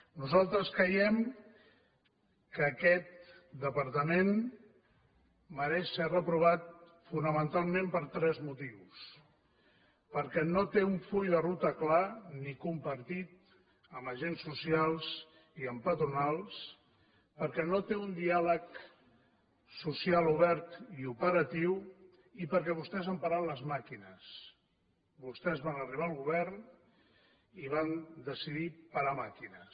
nosaltres creiem que aquest departament mereix ser reprovat fonamentalment per tres motius perquè no té un full de ruta clar ni compartit amb agents socials ni amb patronals perquè no té un diàleg social obert i operatiu i perquè vostès han parat les màquines vostès van arribar al govern i van decidir parar màquines